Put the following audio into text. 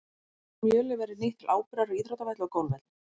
Einnig hefur mjölið verið nýtt til áburðar á íþróttavelli og golfvelli.